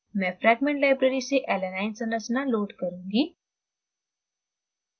मैं fragment library से alanine संरचना load करुँगी